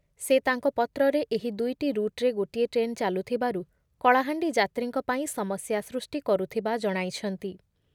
ସେ ତାଙ୍କ ପତ୍ରରେ ଏହି ଦୁଇଟି ରୁଟ୍‌ରେ ଗୋଟିଏ ଟ୍ରେନ୍ ଚାଲୁଥିବାରୁ କଳାହାଣ୍ଡି ଯାତ୍ରୀଙ୍କ ପାଇଁ ସମସ୍ୟା ସୃଷ୍ଟି କରୁଥିବା ଜଣାଇଛନ୍ତି ।